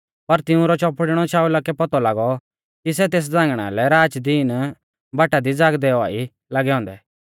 पर तिऊंरौ चौपड़िणौ शाऊला कै पौतौ लागौ कि सै तेस झ़ांगणा लै राच दिन बाटा दी ज़ागदै औआ ई लागै औन्दै